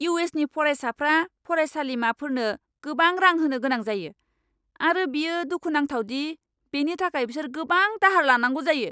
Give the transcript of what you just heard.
इउ.एस.नि फरायसाफ्रा फरायसालिमाफोरनो गोबां रां होनो गोनां जायो आरो बेयो दुखुनांथाव दि बेनि थाखाय बिसोर गोबां दाहार लानांगौ जायो।